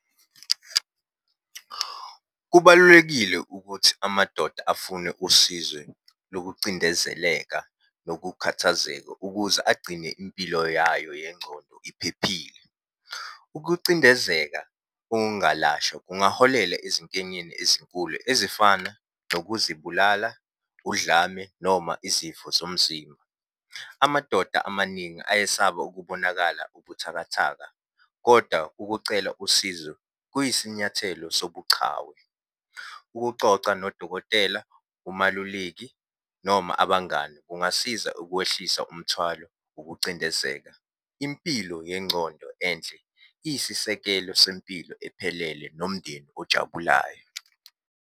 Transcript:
Kubalulekile ukuthi amadoda afune usizwe lokucindezeleka nokukhathazeka ukuze agcine impilo yayo yengcondo iphephile. Ukucindezeka okungalashwa kungaholela ezinkenyeni ezinkulu ezifana nokuzibulala, udlame, noma izifo zomzimba. Amadoda amaningi ayesaba ukubonakala ubuthakathaka, koda ukucela usizo kuyisinyathelo sobuchawe. Ukucoca nodokotela, umaluleki noma abangani kungasiza ukwehlisa umthwalo wokucindezeka. Impilo yengcondo enhle, iyisisekelo sempilo ephelele nomndeni ojabulayo.